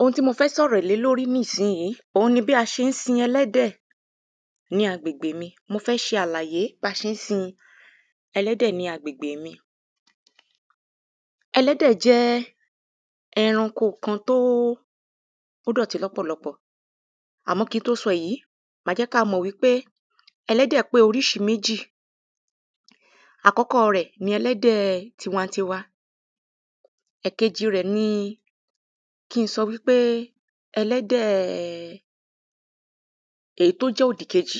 ohun tí mo fẹ́ sọ̀rọ̀ lé lórí ní ìsiìyí òun ni bí a ṣén sin ẹlẹ́dẹ̀ ní agbègbè mi, mo fẹ́ ṣe àlàyé ba ṣé n sin ẹlẹ́dẹ̀ ní agbègbè mi. ẹlẹ́dẹ̀ jẹ́ ẹranko kan tóó tó dọ̀tí lọ́pọ̀lọpọ̀. àmọ́ kin tó sọ èyí, màá jẹ́ kà mọ̀ wípé ẹlẹ́dẹ̀ pé oríṣi méjì. àkọ́kọ́ọ rẹ̀ ni ẹlẹ́dẹ̀ẹ tiwantiwa, ẹ̀kejì rẹ̀ ni kin sọ wípé ẹlẹ́dẹ̀ẹ èyí tó jẹ́ òdìkejì.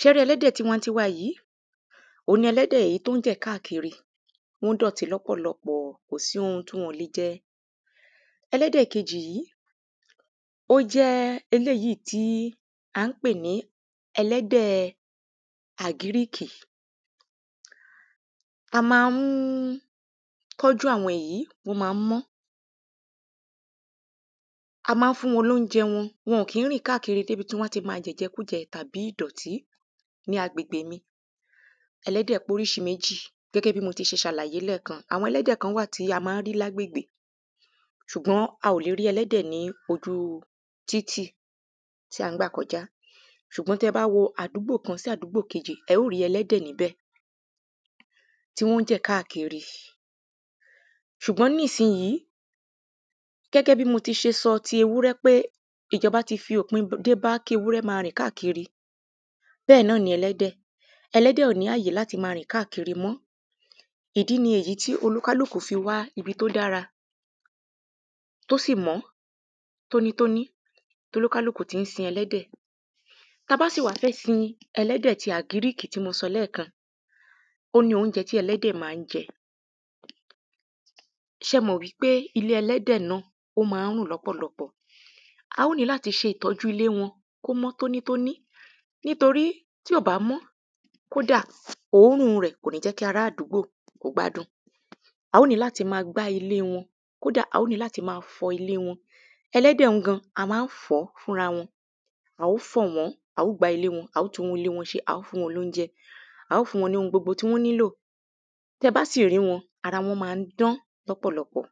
ṣẹ rí ẹlẹ́dẹ̀ tiwantiwa yìí, òun ni ẹlẹ́dẹ̀ èyí tón jẹ̀ káàkiri, wọ́n dọ̀tí lọ́pọ̀lọpọ̀, kòsí ohun tí wọn ọ̀ le jẹ. ẹlẹ́dẹ̀ kejì yí, ó jẹ́ eléyíì tí a ń pè ní ẹlẹ́dẹ̀ẹ àgíríkì. a ma ń tọ́jú àwọn èyí ó ma ń mọ́. a mán fún wọn lóunjẹ wọn, wọn ò kín rìn káàkiri dèbi tí wọ́n ti ma jẹ̀jẹkújẹ tàbí ìdọ̀tí ní agbègbè mi. ẹlẹ́dẹ̀ póríṣiméjì gẹ́gẹ́ bí mo ti ṣe ṣàlàyé lẹ́ẹ̀kan, àwọn ẹlẹ́dẹ̀ kán wà tí a mán rí lágbègbè ṣùgbọ́n a ò lè rí ẹlẹ́dẹ̀ ní ojúu títì tí à ń gbà kọjá. ṣùgbọ́n tí ẹ bá wo àdúgbò kan sí àdúgbò kejì, ẹ ó rí ẹlẹ́dẹ̀ níbẹ̀, tí wọ́n jẹ̀ káàkiri. ṣùgbọ́n nísinyìí, gẹ́gẹ́ bí mo ti ṣe sọ ti ewúrẹ́ pé ìjọbá ti fi òpin dé bá kí ewúrẹǃ2 ma rìn káàkiri, bẹ́ẹ̀ náà ni ẹlẹ́dẹ̀, ẹlẹ́dẹ̀ ò ní àyè láti máa rìn káàkiri mọ́. ìdí ni èyí tí olúkálùkù fi wá ibi tó dára tó sì mọ́ tónítóní tólúkàlùkù ti ń sin ẹlẹ́dẹ̀. tabá sì wá fẹ́ sin ẹlẹ́dẹ̀ ti àgíríkì tí mo sọ lẹ́ẹ̀kan, ó ní oúnjẹ tí ẹlẹ́dẹ̀ ma ń jẹ. ṣẹmọ̀ wípé ilé-ẹlẹ́dẹ̀ náà ó ma ń rùn lọ́pọ̀lọpọ̀, a ó ní láti ṣe ìtọ́jú ilé wọn kó mọ́ tónítóní, nítorí tí ò bá mọ́, kódà, òórùn rẹ̀ kòní jẹ́ kí ará àdúgbò kó gbádùn. a ó ní láti ma gbá ilée wọn, kódà a ó ní láti ma fọ ilée wọn, ẹlẹ́dẹ̀ ń gan, a mán fọ̀ ọ́ fúnrawọn. a ó fọ̀ wọ́n, a ó gbá ilée wọn, a ó tún ilée wọn ṣe, a ó fún wọn lóunjẹ, a ó fún wọn ní ohun gbogbo tí wọ́n nílò, tẹbá sì rí wọn, ara wọ́n ma ń dán lọ́pọ̀lọpọ̀.